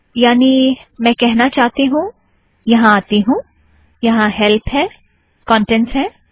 यानि मैं कहना चाहती हूँ - यहाँ आती हूँ यहाँ हैल्प है कोन्टेंट्ज़ है